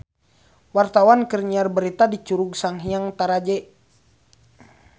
Wartawan keur nyiar berita di Curug Sanghyang Taraje